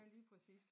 Ja lige præcis